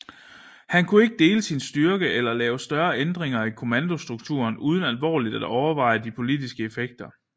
Han kunne ikke dele sin styrke eller lave større ændringer i kommandostrukturen uden alvorligt at overveje de politiske effekter